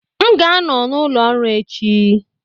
M ga-anọ n' ụlọ ọrụ echi